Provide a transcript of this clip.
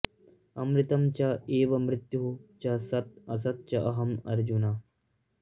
अमृतम् च एव मृत्युः च सत् असत् च अहम् अर्जुन